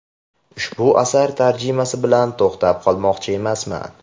Ushbu asar tarjimasi bilan to‘xtab qolmoqchi emasman.